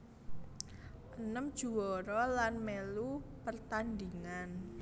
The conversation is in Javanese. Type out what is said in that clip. Enem juwara lan mèlu pertandhingan